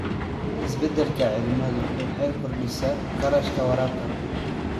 Isbeddelka cimiladu waxay kordhisay kharashka waraabka.